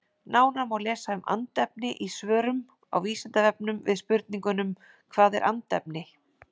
Nánar má lesa um andefni í svörum á Vísindavefnum við spurningunum Hvað er andefni?